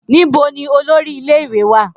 Nibo ni olori ile-iwe wa?